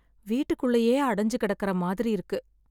வீட்டுக்குள்ளயே அடைஞ்சு கிடைக்கற மாதிரி இருக்கு